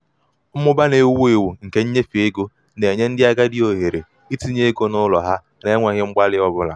mmụba na-ewu mmụba na-ewu ewu nke nnyefe ego na-enye ndị agadi ohere itinye ego n'ụlọ ha n'enweghị mgbalị ọ bụla.